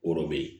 O de bɛ yen